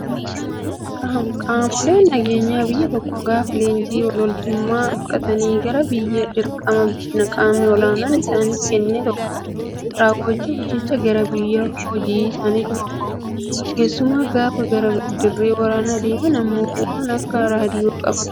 Qaamoleen nageenyaa biyya tokkoo gaafa leenjii loltummaa fudhatanii gara dirqama qaamni olaanaan isaaniif kenne tokko raawwachuuf jecha gara hojii isaaniitti bobba'u. Keessumaa gaafa gara dirree waraanaa deeman immoo waan akka raadiyoo qabatu.